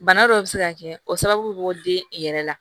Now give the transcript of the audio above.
Bana dɔw bɛ se ka kɛ o sababu den yɛrɛ la